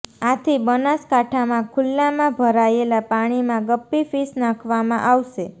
આથી બનાસકાંઠામાં ખુલ્લામાં ભરાયેલા પાણીમાં ગપ્પી ફિશ નાંખવામાં આવશે